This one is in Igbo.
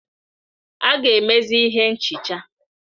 A ga-emezi ihe nchicha.